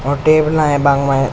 और टेबला है बांके मायने।